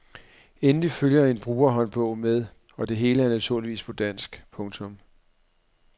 Endelig følger en brugerhåndbog med og det hele er naturligvis på dansk. punktum